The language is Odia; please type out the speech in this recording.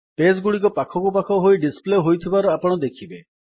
ପେଜ୍ ଗୁଡିକ ପାଖକୁ ପାଖ ହୋଇ ଡିସପ୍ଲେ ହୋଇଥିବାର ଆପଣ ଦେଖିବେ